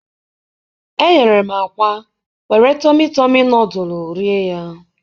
eghere m akwa were tọmị tọmị nọdụlụ rie ya.